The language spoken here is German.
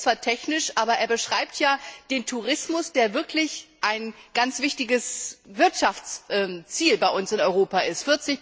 er ist zwar technisch, aber er beschreibt ja den Tourismus, der wirklich ein ganz wichtiges Wirtschaftsziel bei uns in Europa ist.